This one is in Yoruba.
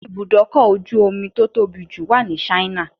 Ibùdókọ̀ ojú omi tó tóbi jù wà ní Ṣáínà